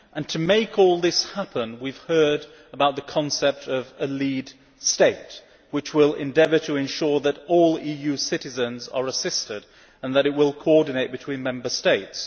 To make all this happen, we have heard about the concept of a Lead State, which will endeavour to ensure that all EU citizens are assisted and that it will coordinate between Member States.